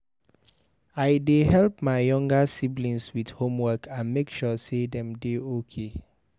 I dey help my younger siblings with homework and make sure sey dem dey okay.